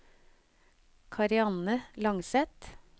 Karianne Langseth